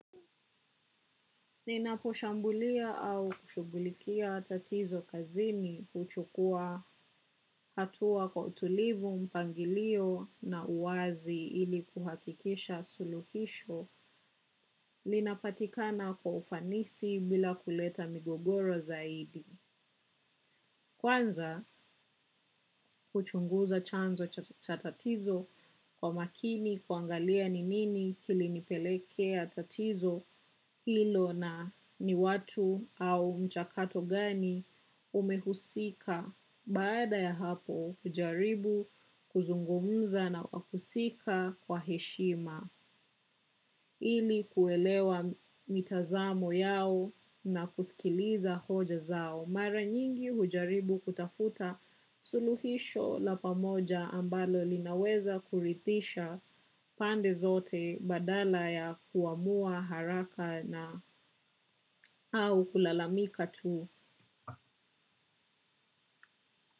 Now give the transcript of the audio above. Ninaposhambulia au kushughulikia tatizo kazini huchukua hatua kwa utulivu, mpangilio na uwazi ili kuhakikisha suluhisho linapatikana kwa ufanisi bila kuleta migogoro zaidi. Kwanza huchunguza chanzo cha tatizo kwa makini kuangalia ni nini kilinipelekea tatizo hilo na ni watu au mchakato gani umehusika baada ya hapo hujaribu kuzungumza na wahusika kwa heshima. Ili kuelewa mitazamo yao na kusikiliza hoja zao. Mara nyingi hujaribu kutafuta suluhisho la pamoja ambalo linaweza kuridhisha pande zote badala ya kuamua haraka na au kulalamika tu.